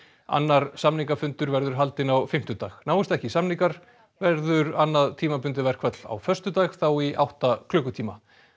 annar samningafundur verður haldinn á fimmtudag náist ekki samningar verður annað tímabundið verkfall á föstudag þá í átta klukkutíma